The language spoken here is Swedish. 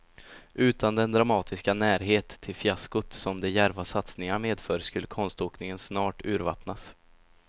Utan den dramatiska närhet till fiaskot som de djärva satsningarna medför skulle konståkningen snart urvattnas.